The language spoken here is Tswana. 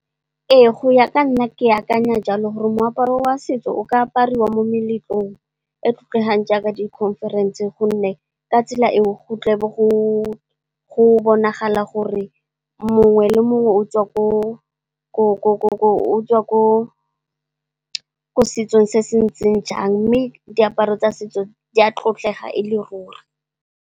Ee go ya ka nna ke akanya jalo gore moaparo wa setso o ka apariwa mo meletlong e tlotlegang jaaka dikhonferense. Gonne, ka tsela eo go tle be go bonagala gore mongwe le mongwe o tswa ko setsong se se ntseng jang mme, diaparo tsa setso di a tlotlegang e le ruri.